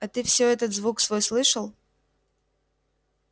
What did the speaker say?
а ты все этот звук свой слышал